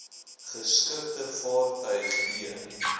geskikte vaartuig e